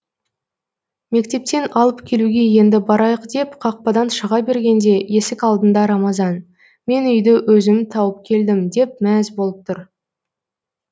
мектептен алып келуге енді барайық деп қақпадан шыға бергенде есік алдында рамазан мен үйді өзім тауып келдім деп мәз болып тұр